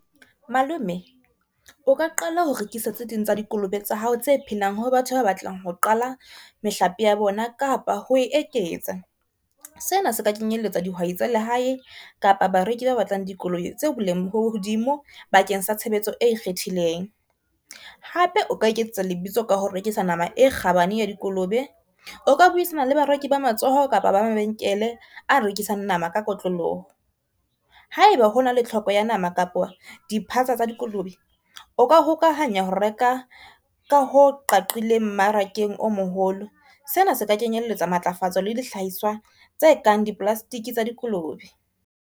Malome o ka qala ho rekisa tse ding tsa dikolobe tsa hao tse phelang ho batho ba batlang ho qala mehlape ya bona kapa ho e ketsa. Sena se ka kenyelletsa dihwai tsa lehae kapa ba reki ba batlang dikolobe tse boleng bo hodimo bakeng sa tshebetso e ikgethileng. Hape o ka iketsetsa lebitso ka ho rekisa nama e kgabane ya dikolobe, o ka buisana le bareki ba matsoho kapa ba mabenkele a rekisang nama ka kotloloho. Ha e ba hona le tlhoko ya nama kapo di tsa dikolobe o ka hokahanya ho reka ka ho qaqileng mmarakeng o moholo. Sena se ka kenyelletsa matlafatso le dihlahiswa tse kang di-plastic tsa dikolobe.